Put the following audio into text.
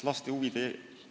Tänan selle küsimuse eest!